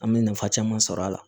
An bɛ nafa caman sɔr'a la